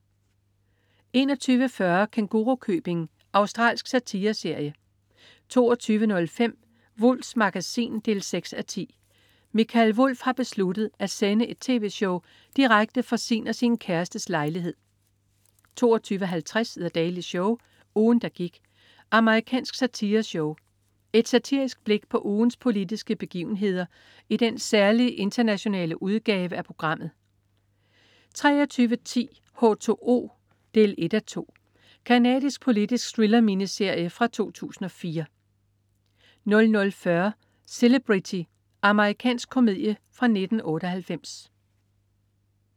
21.40 Kængurukøbing. Australsk satireserie 22.05 Wulffs Magasin 6:10. Mikael Wulff har besluttet at sende et tv-show direkte fra sin og sin kærestes lejlighed 22.50 The Daily Show. Ugen, der gik. Amerikansk satireshow. Et satirisk blik på ugens politiske begivenheder i den særlige internationale udgave af programmet 23.10 H2O 1:2. Canadisk politisk thriller-miniserie fra 2004 00.40 Celebrity. Amerikansk komedie fra 1998